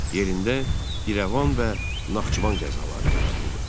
Yerində İrəvan və Naxçıvan qəzaları yaradıldı.